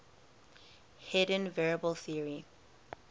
hidden variable theory